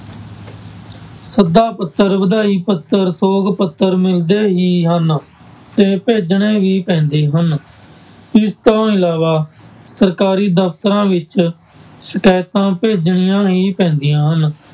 ਸੱਦਾ ਪੱਤਰ, ਵਧਾਈ ਪੱਤਰ, ਸੋਗ ਪੱਤਰ ਮਿਲਦੇ ਹੀ ਹਨ ਤੇ ਭੇਜਣੇ ਵੀ ਪੈਂਦੇ ਹਨ ਇਸ ਤੋਂ ਇਲਾਵਾ ਸਰਕਾਰੀ ਦਫ਼ਤਰਾਂ ਵਿੱਚ ਸ਼ਿਕਾਇਤਾਂ ਭੇਜਣੀਆਂ ਹੀ ਪੈਂਦੀਆਂ ਹਨ।